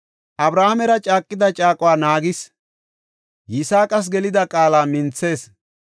Abrahaamera caaqida caaquwa naagees; Yisaaqas gelida qaala minthees.